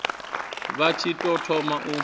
vha tshi tou thoma u